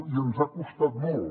i ens ha costat molt